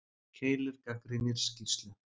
Keilir gagnrýnir skýrslu